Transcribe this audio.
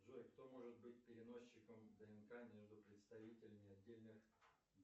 джой кто может быть переносчиком днк между представителями отдельных